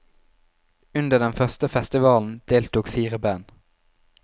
Under den første festivalen deltok fire band.